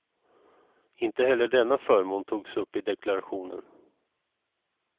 Inte heller denna förmån togs upp i deklarationen.